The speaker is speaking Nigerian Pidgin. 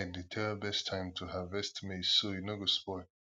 ai dey tell best time to harvest maize so e no go spoil